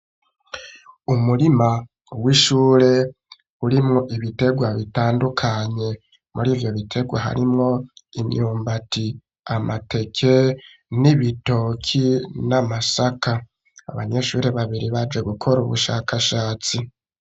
Umurima w'ishure urimwo ibiterwa bitandukanye murivyo bitegwa harimwo imyumbati amateke n'ibitoki n'amasaka abanyeshuri babiri baje gukora ubushakashatsi